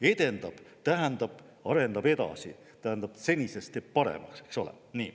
"Edendab" tähendab, et arendab edasi, teeb senisest paremaks, eks ole.